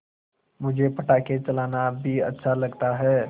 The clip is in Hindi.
मुझे पटाखे चलाना भी अच्छा लगता है